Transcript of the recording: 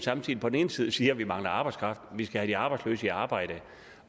på den ene side siger at vi mangler arbejdskraft og vi skal have de arbejdsløse i arbejde